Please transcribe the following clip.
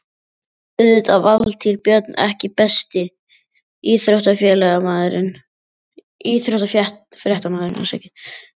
Auðvitað Valtýr Björn EKKI besti íþróttafréttamaðurinn?